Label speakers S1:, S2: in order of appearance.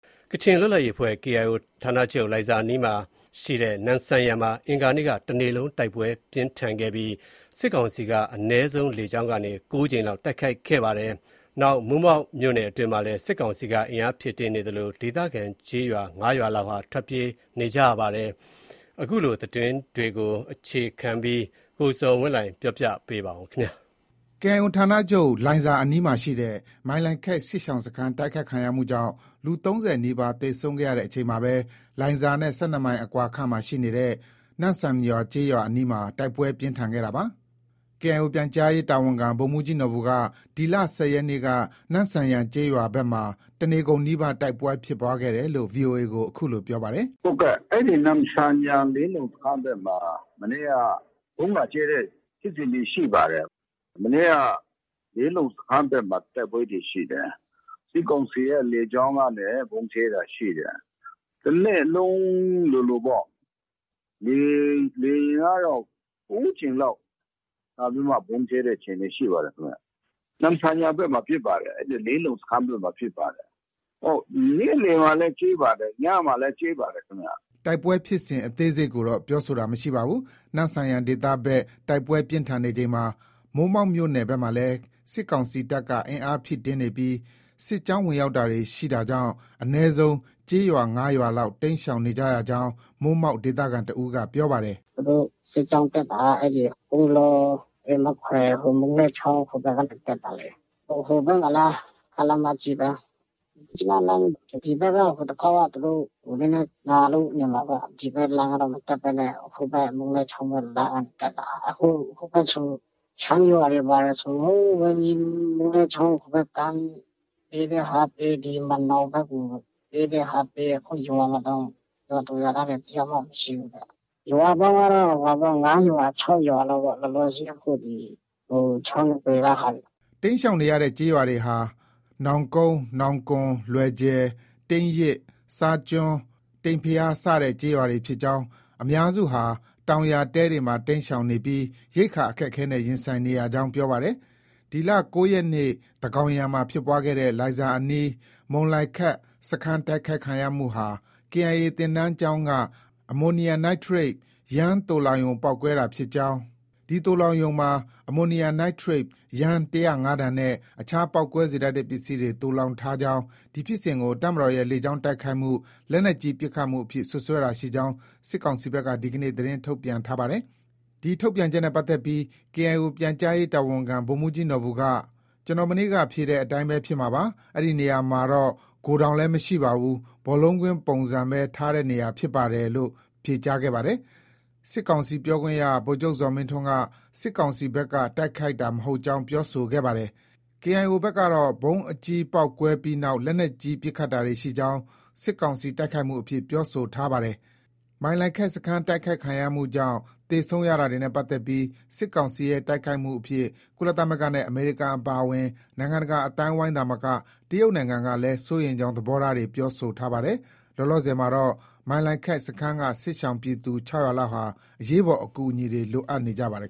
S1: ကချင်လွတ်လပ်ရေးအဖွဲ့ KIO ဌာနချုပ် လိုင်ဇာအနီးရှိ နမ့်ဆန်ယန်မှာ အင်္ဂါနေ့က တနေ့လုံးနီးပါး တိုက်ပွဲပြင်းထန်ခဲ့ပြီး စစ်ကောင်စီတပ်က အနည်းဆုံးလေကြောင်းက ၉ ကြိမ်လောက် တိုက်ခိုက်ခဲ့ပါတယ်။ တချိန်တည်းမှာဘဲ မိုးမောက်မြို့နယ်အတွင်းမှာ စစ်ကောင်စီက အင်အားဖြည့်တင်းနေသလို ဒေသခံကျေးရွာ ၅ရွာလောက်ဟာလည်း ထွက်ပြေး တိမ်းရှောင်တာတွေ ရှိနေပါတယ်။ ကချင်ပြည်နယ်အတွင်းက နောက်ဆုံးအခြေအနေအကြောင်း သတင်းပေးပို့ချက်ကို အခြေခံပြီး ကိုဇော်ဝင်းလှိုင် က တင်ပြထားပါတယ်။
S2: KIO ဌာနချုပ် လိုင်ဇာအနီးရှိ မုန်လိုင်ခက်စစ်ရှောင်စခန်း တိုက်ခိုက်မှုကြောင့် လူ ၃၀နီးပါးသေဆုံးခဲ့ရချိန်မှာပဲ လိုင်ဇာနဲ့ ၁၂မိုင်အကွာခန့်မှာရှိတဲ့ နမ့်ဆန်ယန်ကျေးရွာအနီးမှာ တိုက်ပွဲတွေ ပြင်းထန်ခဲ့တာပါ။ KIO ပြန်ကြားရေးတာဝန်ခံ ဗိုလ်မှုးကြီးနော်ဘူက ဒီလ ၁၀ရက်နေ့က နမ့်ဆန်ယန်ကျေးရွာဘက်မှာ တနေကုန်နီးပါး တိုက်ပွဲဖြစ်ပွားခဲ့တယ်လို့ VOA ကို အခုလို ပြောပါတယ်။ “ နမ့်ဆန်ယန် လေးလုံစခန်းဘက်မှာ မနေ့က ဗုံးလာကြဲတဲ့ ဖြစ်စဉ်တွေ ရှိပါတယ်။ မနေ့က လေးလုံစခန်းဘက်မှာ တိုက်ပွဲတွေ ရှိတယ်။ စစ်ကောင်စီရဲ့လေကြောင်းကနေ ဗုံးကြဲတာရှိတယ်။ တစ်နေ့လုံးလိုလိုပေါ့။ လေယာဉ်ကတော့ ၉ကြိမ်လောက်လာပြီးတော့ ဗုံးကြဲတဲ့အခြေအနေ ရှိပါတယ်။ နမ့်ဆန်ယန်ဘက်မှာဖြစ်ပါတယ်။ နေ့လည်မှာလည်းကြဲပါတယ်။ ညမှာလည်း ကြဲပါတယ်ခင်ဗျ။” တိုက်ပွဲဖြစ်စဉ်အသေးစိတ်ကိုတော့ ပြောဆိုတာမရှိပါဘူး။ နမ့်ဆန်ယန်ဒေသဘက် တိုက်ပွဲပြင်းထန်နေချိန်မှာ မိုးမောက်မြို့နယ်ဘက်မှာလည်း စစ်ကောင်စီတပ်က အင်အားဖြည့်တင်းနေပြီး စစ်ကြောင်း ဝင်ရောက်တာတွေရှိတာကြောင့် အနည်းဆုံးကျေးရွာ ၅ရွာလောက် တိမ်းရှောင်နေကြကြောင်း မိုးမောက်ဒေသခံတဦးက ပြောပါတယ်။
S3: “ သူတို့စစ်ကြောင်းတက်တာက ကုန်းလော၊ မခွယ် ဟို မုန်းလွဲချောင်းဟိုဘက်ကနေ တက်တာလေ။ ဟိုဘက်မှာလည်း ကားလမ်းမကြီးပဲ။ မြစ်ကြီးနားလမ်း ဒီဘက်က ဟိုတခေါက်က သူတို့ နည်းနည်းနာလို့ နေမှာ။ ဒီဘက်လမ်းက မတက်ဘဲနဲ့ ဟိုဘက် မုန်းလွဲချောင်းဘက်ကနေ တက်တာ။ ဟိုဘက် ရှမ်းရွာတွေ ဘာတွေဆို မုန်းလွဲချောင်းဟိုဘက်ကမ်း ပြေးတဲ့ဟာက ပြေး၊ ဒီမန်နောင်ဘက်ကို ပြေးတဲ့ဟာကပြေး။ အခုရွာမှာတောင် ရွာသူရွာသားတွေ တယောက်မှ မရှိဘူးတဲ့။ ရွာပေါင်းကတော့ ၅ရွာ၊ ၆ရွာလောက်ပေါ့။ အခုဒီ ချောင်းနဘေးက ဟာတွေ
S2: ။” တိမ်းရှောင်နေတဲ့ကျေးရွာတွေဟာ နောင်ကုန်း၊ နောင်ကွမ်၊ လွယ်ဂျယ်၊ တိန်းရစ်၊ ဆားကျွန်း၊ တိန်ဘုရား စတဲ့ကျေးရွာတွေဖြစ်ကြောင်း၊ အများစုဟာ တောင်ယာတဲတွေမှာ တိမ်းရှောင်နေပြီး ရိက္ခာအခက်အခဲနဲ့ ရင်ဆိုင်နေရကြောင်း ပြောပါတယ်။ ဒီလ ၉ရက်နေ့ သန်းခေါင်ယံမှာဖြစ်ပွားခဲ့တဲ့ လိုင်ဇာအနီး မုန်လိုင်ခက် စခန်းတိုက်ခိုက်ခံရမှုဟာ KIA သင်တန်းကျောင်းက အမိုနီယမ်နိုင်ထရိတ် သိုလှောင်ရုံပေါက်ကွဲတာဖြစ်ကြောင်း၊ ဒီသိုလှောင်ရုံမှာ အမိုနီယမ်နိုက်ထရိတ် ၁၀၅ တန်နဲ့ အခြားပေါက်ကွဲစေတတ်တဲ့ပစ္စည်းတွေ သိုလှောင်ထားကြောင်း ၊ ဒီဖြစ်စဉ်ကို တပ်မတော်ရဲ့လေကြောင်းတိုက်ခိုက်မှု၊ လက်နက်ကြီး ပစ်ခတ်မှုအဖြစ် စွပ်စွဲတာရှိနေကြောင်း စစ်ကောင်စီဘက်က ဒီကနေ့ သတင်းထုတ်ပြန်ထားပါတယ်။ ဒီထုတ်ပြန်ချက်နဲ့ပတ်သက်ပြီး KIO ပြန်ကြားရေးတာဝန်ခံ ဗိုလ်မှုးကြီးနော်ဘူက - “ ကျနော် မနေ့က ဖြေတဲ့အတိုင်းပဲ ဖြစ်မှာပါ။ အဲဒီနေရာမှာတော့ ဂိုဒေါင်လည်း မရှိပါဘူး။ ဘော်လုံးကွင်းပုံစံပဲ ထားတဲ့နေရာဖြစ်ပါတယ်။ ” စစ်ကောင်စီပြောခွင့်ရ ဗိုလ်ချုပ် ဇော်မင်းထွန်းက စစ်ကောင်စီဘက်က တိုက်ခိုက်တာမဟုတ်ကြောင်း ပြောဆိုခဲ့ပါတယ်။ KIO ဘက်ကတော့ ဗုံးအကြီးပေါက်ကွဲပြီးနောက် လက်နက်ကြီး ပစ်ခတ်တာတွေရှိကြောင်း စစ်ကောင်စီ တိုက်ခိုက်မှု အဖြစ် ပြောဆိုထားတာပါ။ မုန်လိုင်ခက်စခန်းမှာ သေဆုံးရတာတွေနဲ့ပတ်သက်ပြီး စစ်ကောင်စီရဲ့ တိုက်ခိုက်မှုအဖြစ် ကုလသမဂ္ဂနဲ့ အမေရိကန်အပါအဝင် နိုင်ငံတကာအသိုင်းအဝိုင်းသာမက တရုတ်နိုင်ငံက စိုးရိမ်ကြောင်း သဘောထားတွေ ပြောဆိုထားပါတယ်။ လောလောဆည်မှာတော့ မုန်လိုင်ခက်စခန်းက စစ်ရှောင်ပြည်သူ ၆၀၀လောက်ဟာ အရေးပေါ်အကူအညီတွေ လိုအပ်နေပါတယ်